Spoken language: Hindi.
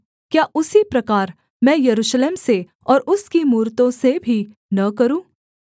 क्या उसी प्रकार मैं यरूशलेम से और उसकी मूरतों से भी न करूँ